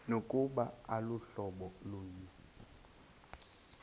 nokuba aluhlobo lunye